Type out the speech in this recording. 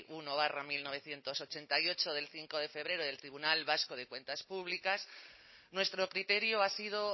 uno barra mil novecientos ochenta y ocho de cinco de febrero del tribunal vasco de cuentas públicas nuestro criterio ha sido